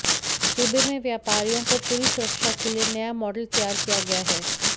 सूबे में व्यापारियों को पूरी सुरक्षा के लिए नया मॉडल तैयार किया गया है